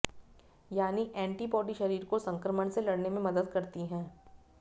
यानी एंटीबॉडी शरीर को संक्रमण से लड़ने में मदद करती है